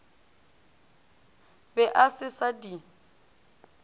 be a se sa di